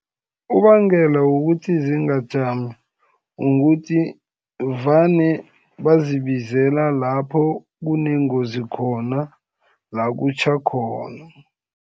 Ubangela ukuthi zingajami, ukuthi vane bazibizela lapho kunengozi khona, la kutjha khona.